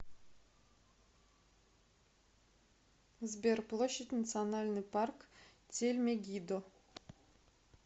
сбер площадь национальный парк тель мегиддо